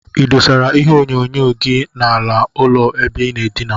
Idosara ihe onyonyo gi na ala ụlọ ebe inaa edina?